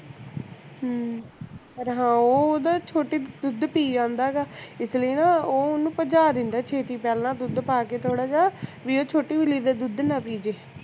ਹਮ ਪਰ ਹਾਂ ਉਹ ਓਹਦਾ ਛੋਟੀ ਦੁੱਧ ਪੀ ਜਾਂਦਾ ਹੈਗਾ ਇਸ ਲਈ ਨਾ ਓਹ ਓਹਨੂੰ ਭਜਾ ਦਿੰਦਾ ਹੈ ਛੇਤੀ ਪਹਿਲਾਂ ਦੁੱਧ ਪਾ ਕੇ ਥੋੜਾ ਜੇਹਾ ਵੀ ਓਹ ਛੋਟੀ ਬਿੱਲੀ ਦਾ ਦੁੱਧ ਨਾ ਪੀ ਜੇ